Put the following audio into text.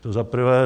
To za prvé.